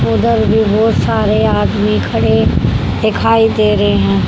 उधर भी बहोत सारे आदमी खड़े दिखाई दे रहे है।